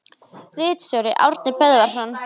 Ritstjóri Árni Böðvarsson.